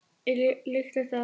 Er líklegt að